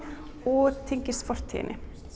og tengist fortíðinni